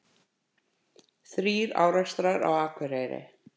Þrír árekstrar á Akureyri